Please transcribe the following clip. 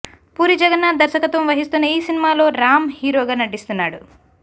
పూరీ జగన్నాథ్ దర్శకత్వం వహిస్తున్న ఈ సినిమాలో రామ్ హీరోగా నటిస్తున్నాడు